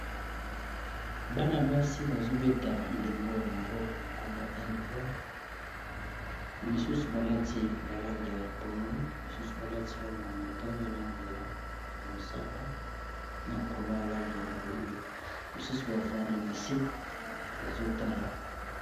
bana basi bazobeta ndembo ya maboko na nkombo ya indboll misusu balati balangi ya pondu misusu balati langeya motai balange ya mosaka na kola alange ya moindo misusu bavandi na se bazotala